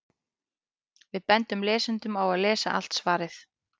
Við bendum lesendum á að lesa allt svarið.